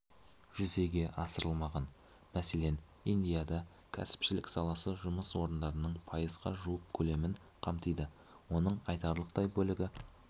жүзеге асырылмаған мәселен индияда кәсіпшілік саласы жұмыс орындарының пайызға жуық көлемін қамтиды оның айтарлықтай бөлігі